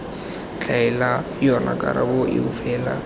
tlhaela yona karabo eo fela